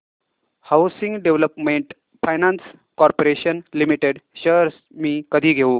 housing development finance corporation limited shares मी कधी घेऊ